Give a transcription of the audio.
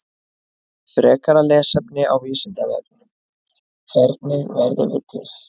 Frekara lesefni á Vísindavefnum: Hvernig verðum við til?